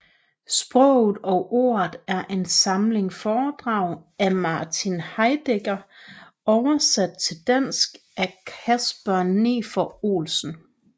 Sproget og ordet er en samling foredrag af Martin Heidegger oversat til dansk af Kasper Nefer Olsen